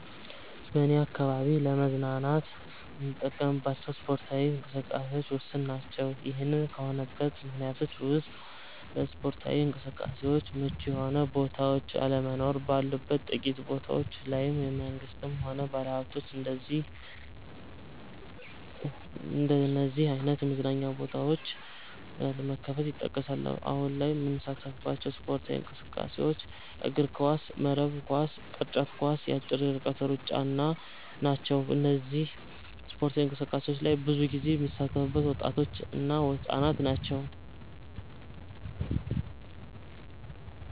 በኔ አካባቢ ለመዝናናት የምንጠቀምባቸው ስፓርታዊ እንቅስቃሴዎች ውስን ናቸ። ይሄ ከሆነበት ምክንያቶች ውስጥ ለስፓርታዊ እንቅስቃሴዎች ምቹ የሆኑ ቦታዎች አለመኖር፣ ባሉት ጥቂት ቦታዎች ላይም መንግስትም ሆነ ባለሀብቶች እንደነዚህ አይነት የመዝናኛ ቦታዎች አለመክፈታቸው ይጠቀሳሉ። አሁን ላይ የምንሳተፍባቸው ስፖርታዊ እንቅስቃሴዎች እግርኳስ፣ መረብ ኳስ፣ ቅርጫት ኳስ እና የአጭር ርቀት ሩጫ ናቸው። በእነዚህ ስፓርታዊ እንቅስቃሴዎች ላይ ብዙ ጊዜ የሚሳተፉት ወጣቶች እና ህፃናት ናቸው።